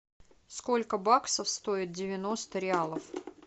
сколько баксов стоит девяносто реалов